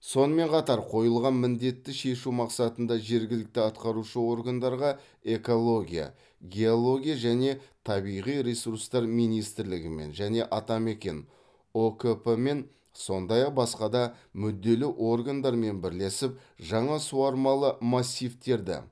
сонымен қатар қойылған міндетті шешу мақсатында жергілікті атқарушы органдарға экология геология және табиғи ресурстар министрлігімен және атамекен ұкп мен сондай ақ басқа да мүдделі органдармен бірлесіп жаңа суармалы массивтерді